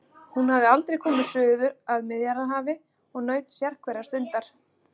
Hún hafði aldrei komið suður að Miðjarðarhafi og naut sérhverrar stundar.